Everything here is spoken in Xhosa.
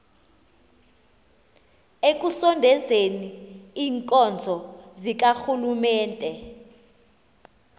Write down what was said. ekusondezeni iinkonzo zikarhulumente